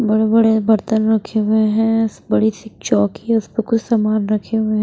बड़े बड़े बर्तन रखे हुए हैं बड़ी सी चौकी है उस पर कुछ सामान रखे हुए हैं।